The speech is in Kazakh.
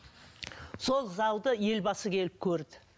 сол залды елбасы келіп көрді